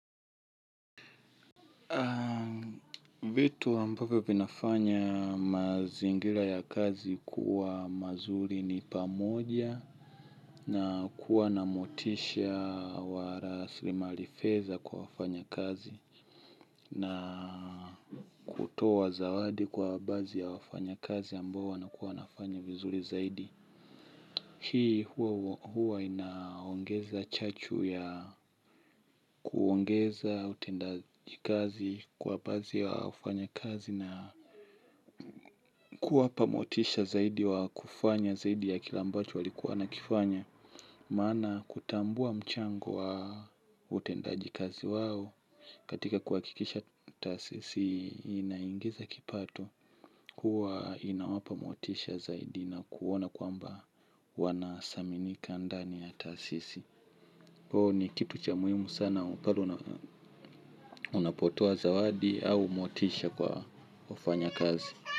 Vitu ambavyo vinafanya mazingira ya kazi kuwa mazuri ni pamoja na kuwa na motisha wa rasilimali fedha kwa wafanyakazi na kutoa zawadi kwa baadhi ya wafanyakazi ambao wanakuwa wanafanya vizuri zaidi. Hii huwa inaongeza chachu ya kuongeza utendaji kazi kwa baadhi ya wafanyakazi na kuwapa motisha zaidi wa kufanya zaidi ya kile ambacho walikuwa wanakifanya. Maana kutambua mchango wa utendaji kazi wao katika kuhakikisha taasisi inaingiza kipato. Kuwa inawapa motisha zaidi na kuona kwamba wanasaminika ndani ya taasisi. Kwao ni kitu cha muhimu sana unapotoa zawadi au motisha kwa wafanyakazi.